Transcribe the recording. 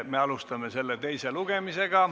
Me alustame selle teist lugemist.